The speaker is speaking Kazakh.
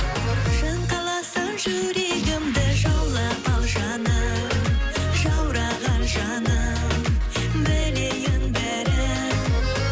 жаным қаласаң жүрегімді жаулап ал жаным жаураған жаным білейін бәрін